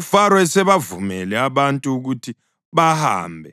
UFaro esebavumele abantu ukuthi bahambe,